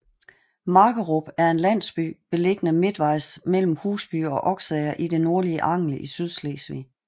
Markerup er en landsby beliggende midtvejs mellem Husby og Oksager i det nordlige Angel i Sydslesvig